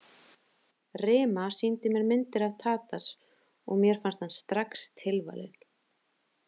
Rima sýndi mér myndir af Tadas og mér fannst hann strax tilvalinn.